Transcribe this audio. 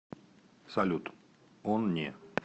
салют он не